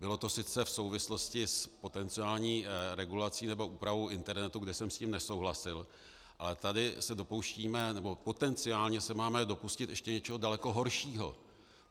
Bylo to sice v souvislosti s potenciální regulací nebo úpravou internetu, kde jsem s tím nesouhlasil, ale tady se dopouštíme, nebo potenciálně se máme dopustit ještě něčeho daleko horšího.